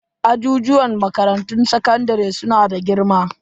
Ajijuwan makarantun sakandare su na da girma.